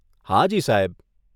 હાજી, સાહેબ.